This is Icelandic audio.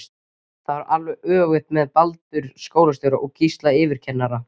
Það var alveg öfugt með Baldur skólastjóra og Gísla yfirkennara.